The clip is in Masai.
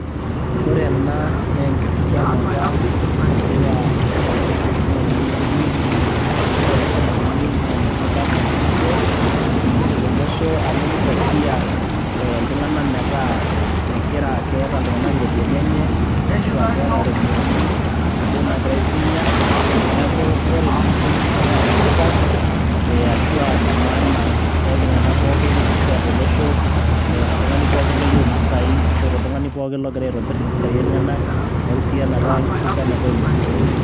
ore ena naa enkifuganata, ashu aa kegira oltungani aifuga ilukunkuni. ore enkifuganata enye naa ene tipat sii ninche tolosho amu kisaidia iltunganak metaa. megira, keeta iltunganak iropiyiani enye. ashu aa keeta iropiyiani inaduoo naagira aitumia. neeku ore lukunkuni naa netipat, ashu aa inemaana tooltunganak pookin, ashu aa tolosho ashu aa toltungani pookin oyieu impisai. ashu aa toltungani pookin ogira aitobir impisai enyenak, neku isidai esiai enkifuganata oluknkuni.